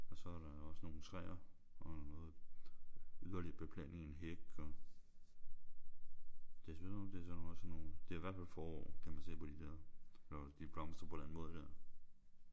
Og så er der også nogle træer og noget yderligere beplantning en hæk og det ser ud som om der er også sådan nogle. Det er i hvert fald forår kan man se på de der når de blomstrer på den der måde der